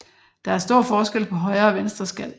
Der er stor forskel på højre og venstre skal